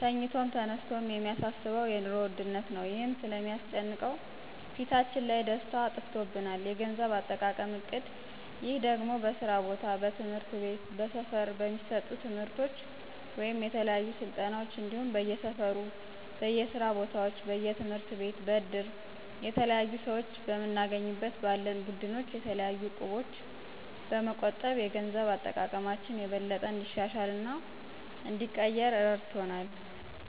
ተኝቶም ተነስቶም የሚያሳስበው የኑሮ ውድነት ነው ይህም ስለሚስጨንቀው ፊታችን ላይ ደስታ አጥፍቶብናል። የገንዘብ አጠቃቀም እቅድ ይህ ደግሞ በስራ ቦታ፣ በትምህርት ቤት፣ በስፈር የሚሰጡ ትምርቶች ወይም የተለያዩ ስልጠናዎች እንዲሁም በየሰፈሩ፣ በየስራ ቦታዎች፣ በየትምህርትቤት በእድር፣ የተለያሁ ሰዎች በምንገናኝበት ባለን ቡድኖች የተለያዩ እቁቦች በመቆጠብ የገንዘብ አጠቃቀማችን የበለጠ እንዲሻሻልና እንዲቀየር እረድቶናል።